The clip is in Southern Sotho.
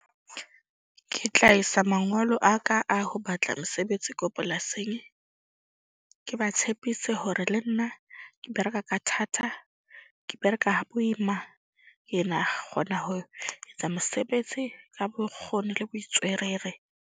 Ke tla isa mangolo a ka a ho batla mosebetsi ko polasing. Ke ba tshepise hore le nna ke bereka ka thata. Ke bereka ha boima ena kgona ho etsa mosebetsi ka bokgoni le bo .